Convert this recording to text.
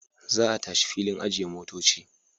Za a tashi filin ajiye motoci.